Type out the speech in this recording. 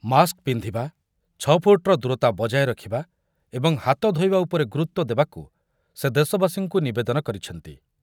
Mask ପିନ୍ଧିବା, ଛଅ ଫୁଟ୍‌ର ଦୂରତା ବଜାୟ ରଖିବା ଏବଂ ହାତ ଧୋଇବା ଉପରେ ଗୁରୁତ୍ବ ଦେବାକୁ ସେ ଦେଶବାସୀଙ୍କୁ ନିବେଦନ କରିଛନ୍ତି।